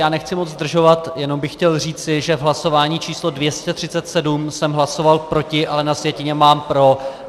Já nechci moc zdržovat, jenom bych chtěl říci, že v hlasování číslo 237 jsem hlasoval proti, ale na sjetině mám pro.